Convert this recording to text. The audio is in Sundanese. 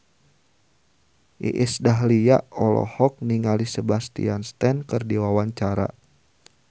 Iis Dahlia olohok ningali Sebastian Stan keur diwawancara